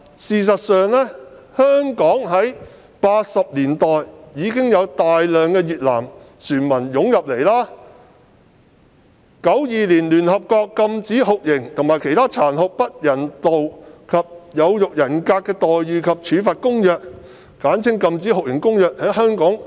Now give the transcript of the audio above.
事實上，香港早在1980年代已面對大量越南船民湧入，及至1992年，聯合國的《禁止酷刑和其他殘忍、不人道或有辱人格的待遇或處罰公約》開始適用於香港。